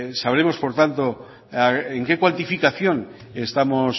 sabremos por tanto en qué cuantificación estamos